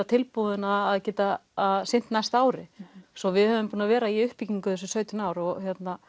tilbúin að geta sinnt næsta ári svo að við höfum verið í uppbyggingu í þessi sautján ár og